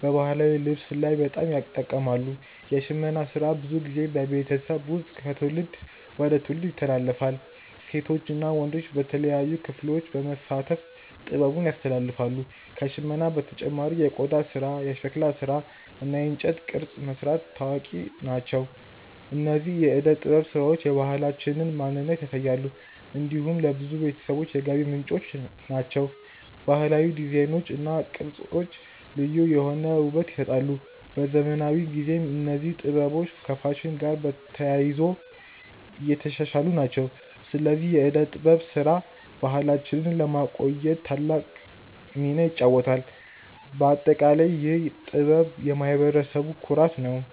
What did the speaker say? በባህላዊ ልብስ ላይ በጣም ይጠቀማሉ። የሽመና ስራ ብዙ ጊዜ በቤተሰብ ውስጥ ከትውልድ ወደ ትውልድ ይተላለፋል። ሴቶች እና ወንዶች በተለያዩ ክፍሎች በመሳተፍ ጥበቡን ያስተላልፋሉ። ከሽመና በተጨማሪ የቆዳ ስራ፣ የሸክላ ስራ እና የእንጨት ቅርጽ መስራት ታዋቂ ናቸው። እነዚህ የእደ ጥበብ ስራዎች የባህላችንን ማንነት ያሳያሉ። እንዲሁም ለብዙ ቤተሰቦች የገቢ ምንጭ ናቸው። ባህላዊ ዲዛይኖች እና ቅርጾች ልዩ የሆነ ውበት ይሰጣሉ። በዘመናዊ ጊዜም እነዚህ ጥበቦች ከፋሽን ጋር ተያይዞ እየተሻሻሉ ናቸው። ስለዚህ የእደ ጥበብ ስራ ባህላችንን ለማቆየት ትልቅ ሚና ይጫወታል። በአጠቃላይ ይህ ጥበብ የማህበረሰቡ ኩራት ነው።